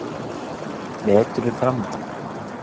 Vetur er framundan.